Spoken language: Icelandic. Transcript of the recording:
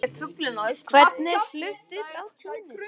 Hvernig fluttur á túnin?